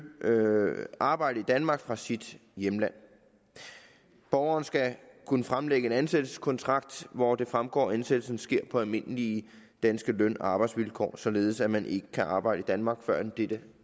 arbejde i danmark fra sit hjemland borgeren skal kunne fremlægge en ansættelseskontrakt hvoraf det fremgår at ansættelsen sker på almindelige danske løn og arbejdsvilkår således at man ikke kan arbejde i danmark førend dette